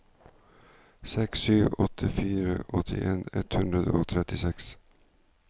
sju seks åtte fire åttien ett hundre og trettiseks